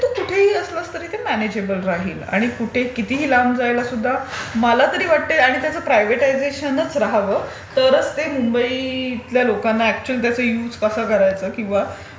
तू कुठेही असलास तरी ते म्यानेजियबल राहील आणि कुठे कितीही लांब राहिलास तरी मला तरी वाटतं हे प्रायव्हेटयझेशनच राहावं तरच ते मुंबईतल्या लोकांना अकचुयल त्याचा युज कसा करायचा किंवा